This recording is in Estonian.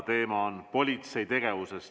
Teema on politsei tegevus.